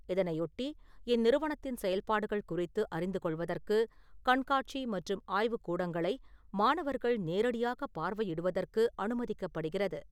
இதனையொட்டி இந்நிறுவனத்தின் செயல்பாடுகள் குறித்து அறிந்துகொள்வதற்கு கண்காட்சி மற்றும் ஆய்வுக் கூடங்களை மாணவர்கள் நேரடியாக பார்வையிடுவதற்கு அனுமதிக்கப்படுகிறது.